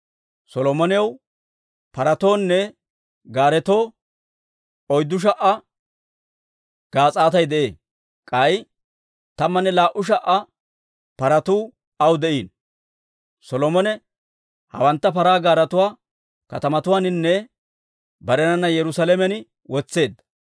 Solomonaw paratoonne gaaretoo 4,000 gaas'aatay de'ee; k'ay 12,000 paratuu aw de'iino. Solomone hewantta paraa gaaretuwaa katamatuwaaninne barenana Yerusaalamen wotseedda.